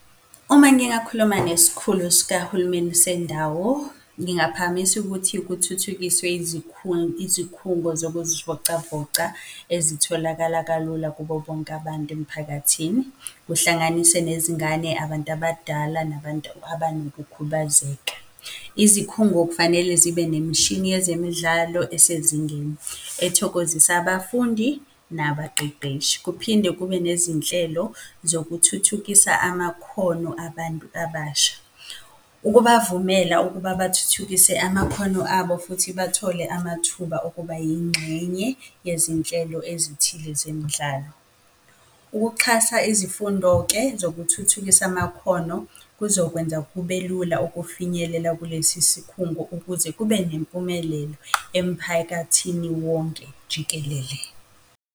Uma ngingakhuluma nesikhulu sikahulumeni sendawo, ngingaphakamisa ukuthi kuthuthukiswe izikhungo zokuzivocavoca ezitholakala kalula kubo bonke abantu emphakathini, kuhlanganise nezingane, abantu abadala, nabantu abanokukhubazeka. Izikhungo kufanele zibe nemishini yezemidlalo esezingeni, ethokozisa abafundi, nabaqeqeshi. Kuphinde kube nezinhlelo zokuthuthukisa amakhono abantu abasha, ukubavumela ukuba bathuthukise amakhono abo futhi bathole amathuba okuba yingxenye yezinhlelo ezithile zemidlalo. Ukuxhasa izifundo-ke zokuthuthukisa amakhono, kuzokwenza kube lula ukufinyelela kulesi sikhungo ukuze kube nempumelelo emphakathini wonke jikelele.